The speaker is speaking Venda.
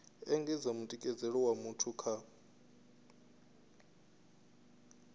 engedza mutikedzelo wa muthu kha